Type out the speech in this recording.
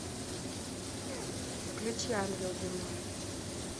включи ангел земной